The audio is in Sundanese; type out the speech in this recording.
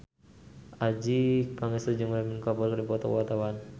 Adjie Pangestu jeung Ranbir Kapoor keur dipoto ku wartawan